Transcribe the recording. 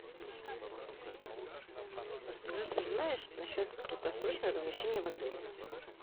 алиса расскажи все что знаешь насчет краткосрочного размещения в отеле